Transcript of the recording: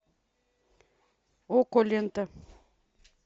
окко лента